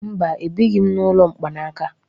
Mba, ebighi m n'ụlọ mkpanaka.